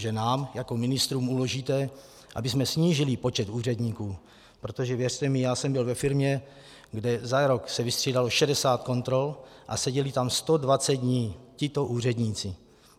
Že nám jako ministrům uložíte, abychom snížili počet úředníků, protože věřte mi, já jsem byl ve firmě, kde se za rok vystřídalo 60 kontrol a seděli tam 120 dní tito úředníci.